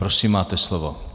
Prosím, máte slovo.